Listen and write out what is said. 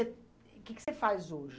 E que que você faz hoje?